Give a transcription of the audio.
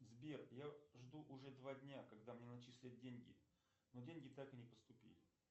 сбер я жду уже два дня когда мне начислят деньги но деньги так и не поступили